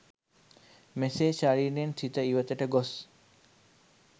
මෙසේ ශරීරයෙන් සිත ඉවතට ගොස්